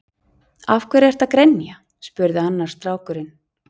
Af hverju ertu að grenja? spurði annar strákurinn.